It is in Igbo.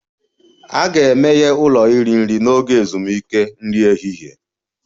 A ga-emeghe ụlọ iri nri n'oge ezumike nri ehihie